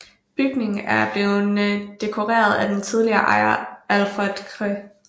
Bygningen er blevet dekoreret af den tidligere ejer Alfred Chr